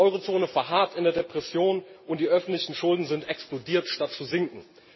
Die Eurozone verharrt in der Depression und die öffentlichen Schulden sind explodiert, statt zu sinken.